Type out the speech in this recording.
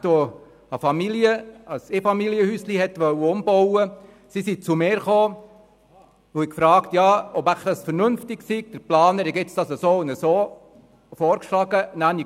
Eine Familie, die ihr Einfamilienhaus umbauen wollte, kam zu mir und fragte mich, ob es wohl vernünftig sei, was der Planer ihnen vorgeschlagen hat.